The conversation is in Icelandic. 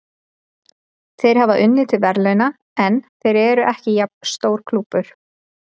Þeir hafa unnið til verðlauna, en þeir eru ekki jafn stór klúbbur.